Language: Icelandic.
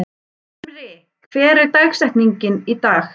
Himri, hver er dagsetningin í dag?